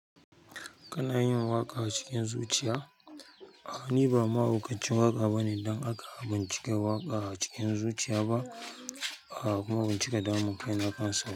Kana yin waƙa a cikin zuciya? A'a, ni ba mahaukacin waƙa bane don haka ban cika waƙa a cikin zuciya ba. A kuma ban cika damun kai na kansa ba.